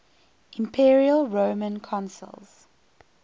imperial roman consuls